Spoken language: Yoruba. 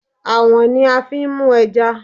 Àwọ̀n ni a fi n mú ẹja